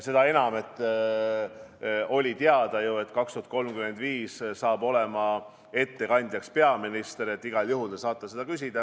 Seda enam, et oli ju teada, et "Eesti 2035" puhul tuleb ettekandjaks peaminister, nii et igal juhul te saite küsida.